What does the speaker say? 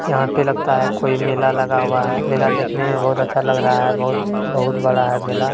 यहाँ पे लगता है कोई मेला लगा हुआ है मेला देखने में बहुत अच्छा लग रहा है बहुत बहुत बड़ा है मेला।